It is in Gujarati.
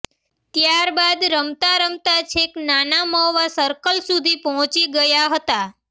ત્યારબાદ રમતા રમતા છેક નાના મવા સર્કલ સુધી પહોંચી ગયા હતા